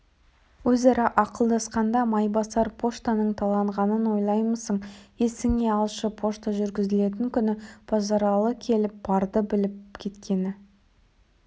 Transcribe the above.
өзара ақылдасқанда майбасар поштаның таланғанын ойлаймысың есіңе алшы пошта жүргізілетін күні базаралы келіп барды біліп кеткені